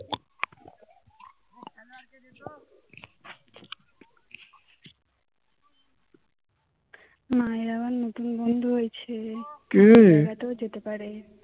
মা এর আবার নতুন বন্ধু হয়েছে মেলাতেও যেতে পারে